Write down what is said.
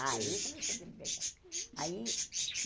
Aí começou a minha liberdade. Aí